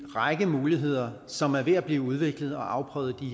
række muligheder som er ved at blive udviklet og afprøvet i